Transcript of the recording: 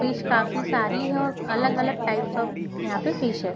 Fish काफी सारी है और अलग अलग टाइपस ऑफ़ यहाँ पे फिश है ।